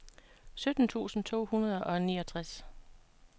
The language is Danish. sytten tusind to hundrede og niogtres